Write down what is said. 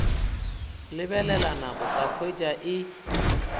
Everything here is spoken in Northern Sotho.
lebelela nako ka hwetša e